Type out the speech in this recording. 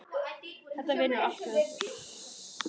Þetta vinnur allt með okkur.